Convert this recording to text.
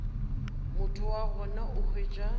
motho wa gona o hwetša